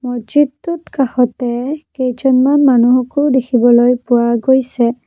মছজিদটোত কাষতে কেইজনমান মানুহো দেখিবলৈ পোৱা গৈছে।